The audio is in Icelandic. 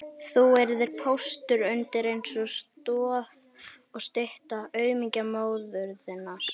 Þú yrðir póstur undir eins og stoð og stytta aumingja móður þinnar